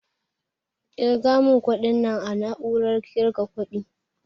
Ƙirga mun kuɗin nan a na'urar ƙirga kuɗi